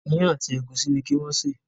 Iyán àti egusi ní kí wón ṣe.